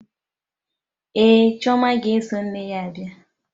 Ee, chioma ga-eso nne ya bia.